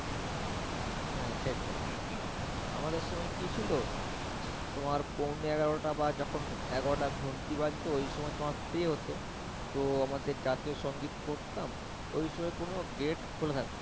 হ্যাঁ সেটাই আমাদের সময় কি ছিল? যখন পণে এগারোটা বা যখন এগারোটার ঘণ্টি বাজতো ওই সময় তোমার pray হত, তো আমাদের জাতীয় সংগীত করতাম ওই সময় তোমার কোন গেট খোলা নেয়